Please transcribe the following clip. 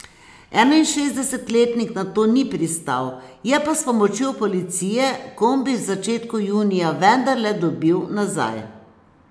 Enainšestdesetletnik na to ni pristal, je pa s pomočjo policije kombi v začetku junija vendarle dobil nazaj.